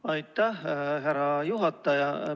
Aitäh, härra juhataja!